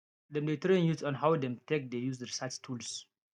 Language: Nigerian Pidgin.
dem dey train youth on how dem take dey use research tools